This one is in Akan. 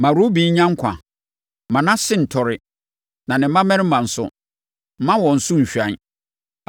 “Ma Ruben nya nkwa. Mma nʼase ntɔre. Na ne mmarima nso, mma wɔn so nhwan.”